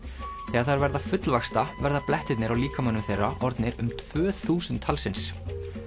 þegar þær verða fullvaxta verða blettirnir á líkamanum þeirra orðnir um tvö þúsund talsins